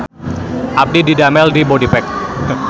Abdi didamel di Bodypack